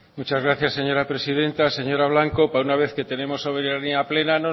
muchas gracias señora presidenta señora blanco para una vez que tenemos soberanía plena